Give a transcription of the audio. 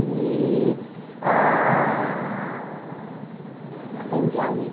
E a, aprendi a ler.